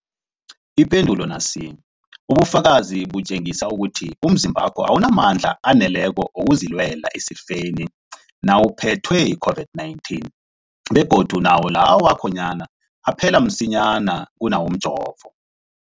Ipendulo, ubufakazi butjengisa ukuthi umzimbakho awunamandla aneleko wokuzilwela esifeni nawuphethwe yi-COVID-19, begodu nawo lawo akhonyana aphela msinyana kunawomjovo.